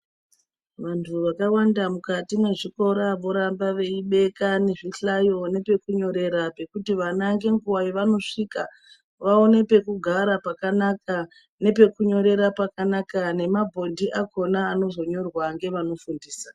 Vantu vakawanda mukati mwezvikora vorambe veibeke zvihlayo nepekunyorera pekuti vana ngenguwa yavanosvika vawane pekugara pakanaka nepekunyorera pakanaka nepabhodhi pakhona panozonyorwa ngevanofundisa.